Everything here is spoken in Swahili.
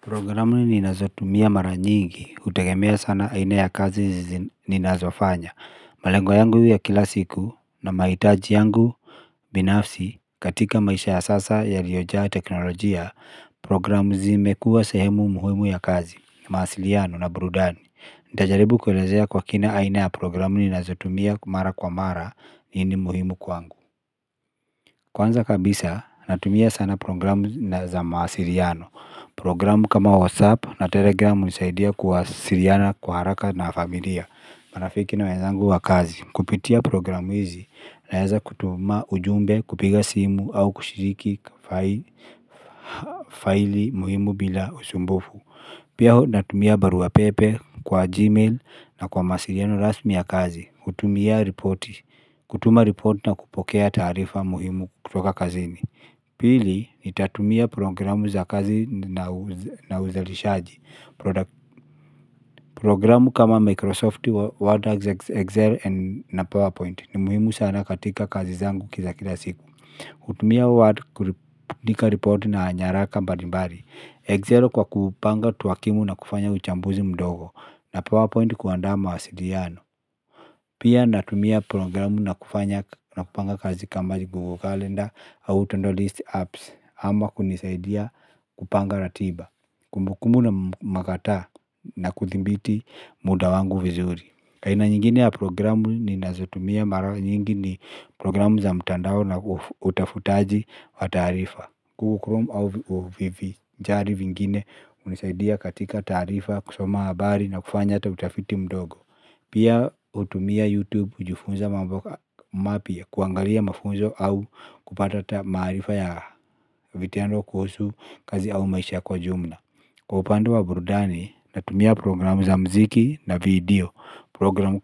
Programu ninazotumia mara nyingi kutegemea sana aina ya kazi ninazoafanya. Malengo yangu ya kila siku na mahitaji yangu. Binafsi katika maisha ya sasa ya yaliojaa teknolojia. Programu zimekua sehemu muhimu ya kazi, mawasiliano na burudani. Nitajaribu kuelezea kwa kina aina ya programu ninazotumia mara kwa mara nini muhimu kwangu. Kwanza kabisa natumia sana programu za mawasiliano. Programu kama WhatsApp na Telegram hunisaidia kuwasiliana kwa haraka na familia. Marafiki na wenzangu wa kazi. Kupitia programu hizi naweza kutuma ujumbe kupiga simu au kushiriki file muhimu bila usumbufu. Pia natumia barua pepe kwa Gmail na kwa mawasiliano rasmi ya kazi. Kutumia reporti, kutuma ripoti na kupokea taarifa muhimu kutoka kazini. Pili, nitatumia programu za kazi na uzalishaji. Programu kama Microsoft, Word, Excel, na PowerPoint ni muhimu sana katika kazi zangu za kila siku. Kutumia Word, kuandika ripoti na nyaraka mbalimbali. Excel kwa kupanga takwimu na kufanya uchambuzi mdogo na PowerPoint kuandaa mawasiliano. Pia natumia programu na kupanga kazi kama Google Calendar au To-do list apps ama kunisaidia kupanga ratiba kumbukumbu magata na kuthimbiti muda wangu vizuri. Aina nyingine ya programu ninazotumia mara nyingi ni programu za mtandao na utafutaji wa taarifa. Google Chrome au vivinjari vingine hunisaidia katika taarifa kusoma habari na kufanya hata utafiti mdogo. Pia hutumia YouTube kujifunza mambo mapya kuangalia mafunzo au kupata maarifa ya vitendo kuhusu kazi au maisha kwa jumla. Kwa upande wa burudani natumia programu za muziki na video. Programu